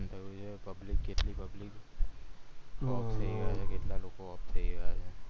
નુકશાન થયું છે public કેટલી public કેટલા લોકો off થય ગયા છે